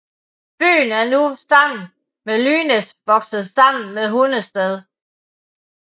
Byen er nu sammen med Lynæs vokset sammen med Hundested